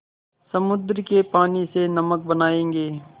समुद्र के पानी से नमक बनायेंगे